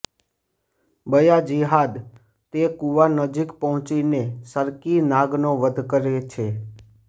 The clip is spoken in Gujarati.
બયાજિદ્દાહ તે કૂવા નજીક પહોંચીને સરકી નાગનો વધ કરે છે